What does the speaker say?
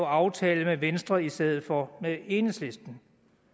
aftale med venstre i stedet for med enhedslisten